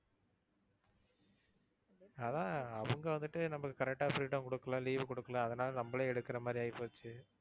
அதான் அவங்க வந்துட்டு நமக்கு correct ஆ freedom கொடுக்கல, leave கொடுக்கல அதனால நம்பளே எடுக்கிற மாதிரி ஆயிப்போச்சு.